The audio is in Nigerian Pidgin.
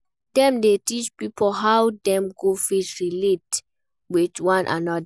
Dem de teach pipo how Dem go fit relate with one another